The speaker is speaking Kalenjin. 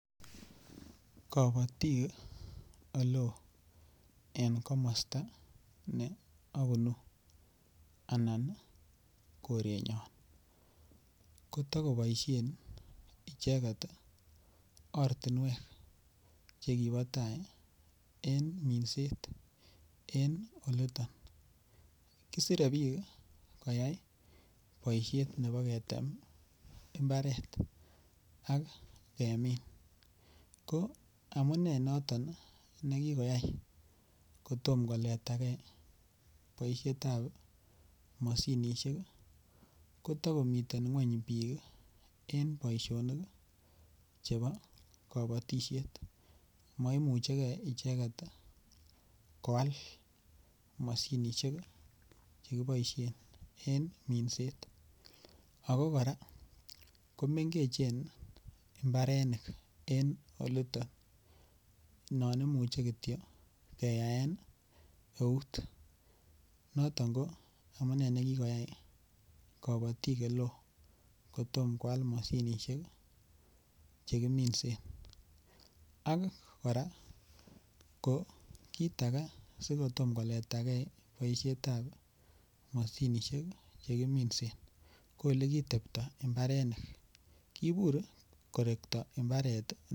Kapatik aloo en komasta ne apunu anan korenyon kotakopaishen icheget ortinwek che kipa tai en minseet en olitan. Kisire piik koyai poishet nepo ketem mbatret ak kemin. Ko amune moton ne kikokoyai ko toma koleta ge poishet ap mosinisiek, ko takomitei ng'wany piik eng' poishonik chepo kapatishet. Ma imuchigei icheget kowal mosinisiek che kipaishe eng' minset. Ako kora ko mengechen mbarenik en olitan. Nan imuchi kotyo keyaen keut noton ko amune ne kikoyai kapatiik ole ko toma koal mosinisiek che kiminsen . Ak kora, ko kiit age si ko toma koleta gei poishet ap mosinisiek che kiminse ko ole kitepta imbarenik. Kiipur kotepi korekta imbaret.